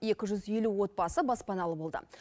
екі жүз елу отбасы баспаналы болды